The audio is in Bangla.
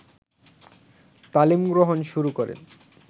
তালিম গ্রহণ শুরু করেন